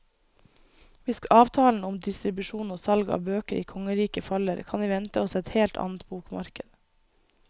Hvis avtalen om distribusjon og salg av bøker i kongeriket faller, kan vi vente oss et helt annet bokmarked.